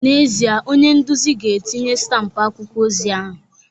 N'ezie, onye nduzi ga-etinye stampụ akwụkwọ ozi ahụ